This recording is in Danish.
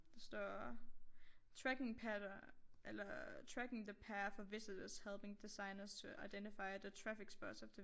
Der står tracking pattern eller tracking the path of visitors helping designers to identify the traffic spots of the